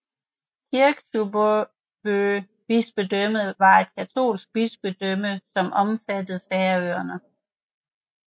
Kirkjubø bispedømme var et katolsk bispedømme som omfattede Færøerne